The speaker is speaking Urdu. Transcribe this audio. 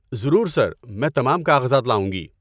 ضرور، سر! میں تمام کاغذات لاؤں گی۔